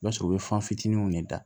I b'a sɔrɔ u bɛ fan fitininw de da